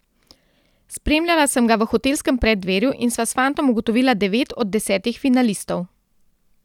Spremljala sem ga v hotelskem preddverju in sva s fantom ugotovila devet od desetih finalistov.